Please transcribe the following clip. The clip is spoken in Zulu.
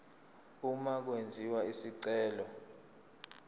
uma kwenziwa isicelo